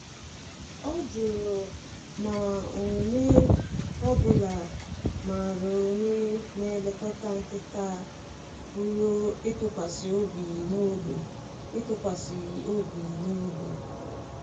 Ọ jụrụ ma onye ọ bụla maara onye na-elekọta nkịta a pụrụ ịtụkwasị obi n’ógbè. ịtụkwasị obi n’ógbè.